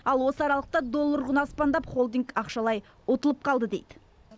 ал осы аралықта доллар құны аспандап холдинг ақшалай ұтылып қалды дейді